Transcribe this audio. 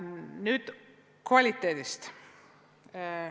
Nüüd kvaliteedist.